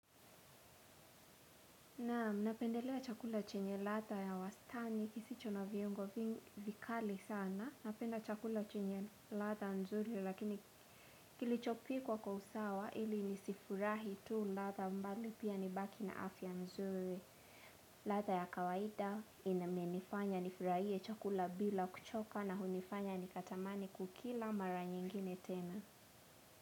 Nam napendelea chakula chenye ladha ya wastani kisicho na viongo vikali sana napenda chakula chenye ladha nzuri lakini kilichopikwa kwa usawa ili nisifurahi tu ladha mbali pia nibaki na afya nzuri ladha ya kawaida inamenifanya nifurahie chakula bila kuchoka na hunifanya nikatamani kukila mara nyingine tena.